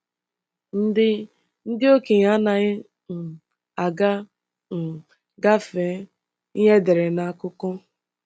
Ndị Ndị okenye anaghị um aga um gafee ihe edere n’akụkọ.